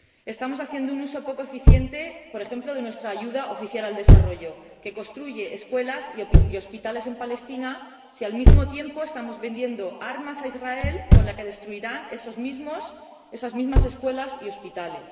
Estamos haciendo un uso poco eficiente, por ejemplo, de nuestra ayuda oficial al desarrollo, con la que se construyen escuelas y hospitales en Palestina, si, al mismo tiempo, estamos vendiendo armas a Israel con las que destruirán esas mismas escuelas y hospitales.